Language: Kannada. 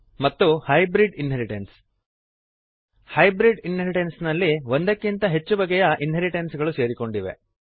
ಮತ್ತು ಹೈಬ್ರಿಡ್ ಇನ್ಹೆರಿಟೆನ್ಸ್ ಹೈಬ್ರಿಡ್ ಇನ್ಹೆರಿಟೆನ್ಸ್ ನಲ್ಲಿ ಒಂದಕ್ಕಿಂತ ಹೆಚ್ಚು ಬಗೆಯ ಇನ್ಹೆರಿಟೆನ್ಸ್ ಗಳು ಸೇರಿಕೊಂಡಿವೆ